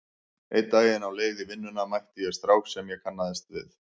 Einn daginn á leið í vinnuna mætti ég strák sem ég kannaðist við.